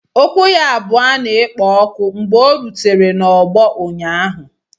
Ụkwụ ya abụọ na-ekpo ọkụ mgbe ọ rutere n'ọgbọ ụnyaahụ